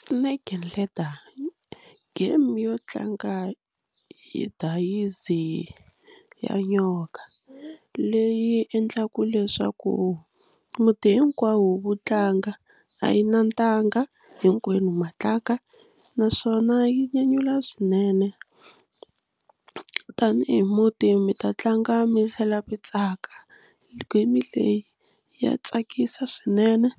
Snake and ladder, game yo tlanga hi dayizi ya nyoka leyi endlaka leswaku muti hinkwawo wu tlanga a yi na ntanga hinkwenu ma tlanga naswona yi nyanyula swinene tanihi muti mi ta tlanga mi tlhela mi tsaka game leyi ya tsakisa swinene